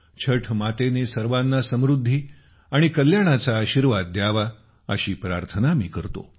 छठ मातेने सर्वांना समृद्धी आणि कल्याणाचा आशीर्वाद द्यावा अशी प्रार्थना मी करतो